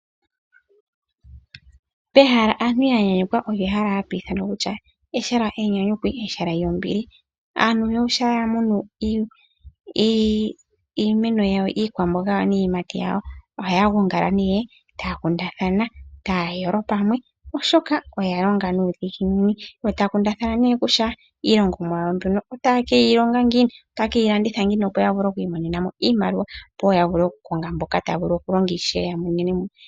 Pehala aantu yanyanyukwa olyo ehala enyanyukwi nenge ehala lyombili. Aantu shampa ya munu iikwamboga niiyimati yawo ohaya gonga nee taya kundathana taya yolo pamwe, oshoka oya longa nuudhiginini. Ohaya kundathana nee kutya iilongomwa yawo mbyono otaye ke yi longa ngiini, otaye ke yi landitha ngiini opo ya vule oku imonena mo iimaliwa.